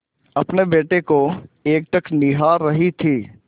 अपने बेटे को एकटक निहार रही थी